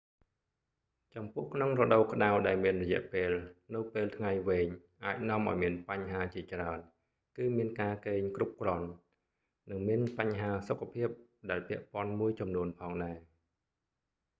ចំពោះក្នុងរដូវក្តៅដែលមានរយៈពេលនៅពេលថ្ងៃវែងអាចនាំឱ្យមានបញ្ហាជាច្រើន គឺមានការគេងគ្រប់គ្រាន់ និងមានបញ្ហាសុខភាពដែលពាក់ព័ន្ធមួយចំនួនផងដែរ